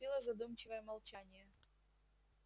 наступило задумчивое молчание